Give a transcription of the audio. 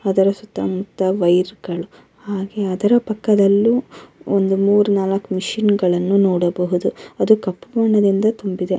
ಅದರ ಸುತ್ತ ಮುತ್ತ ವೈರ್ ಗಳು ಹಾಗೆ ಅದರ ಪಕ್ಕದಲ್ಲಿ ಒಂದು ಮೂರೂ ನಾಲಕ್ಕು ಮಷಿನ್ ಗಳನ್ನೂ ನೋಡಬಹುದು ಅದು ಕಪ್ಪು ಮಣ್ಣಿನಿಂದ ತುಂಬಿದೆ.